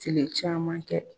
Tile caman kɛ.